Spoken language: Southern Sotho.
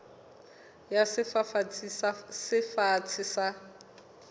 ya sefafatsi se fatshe sa